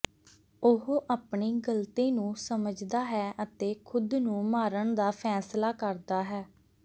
ਉਹ ਆਪਣੀ ਗ਼ਲਤੀ ਨੂੰ ਸਮਝਦਾ ਹੈ ਅਤੇ ਖ਼ੁਦ ਨੂੰ ਮਾਰਨ ਦਾ ਫੈਸਲਾ ਕਰਦਾ ਹੈ